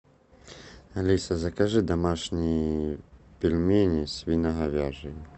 алиса закажи домашние пельмени свино говяжьи